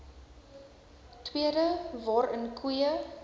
tweede waarin koeie